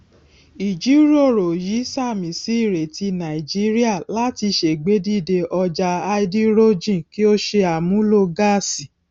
ìjírọrọ yìí sààmì sí ìrètí nàìjíría láti ṣègbèdíde ọjà háídírójìn kí ó ṣe àmúlò gáàsì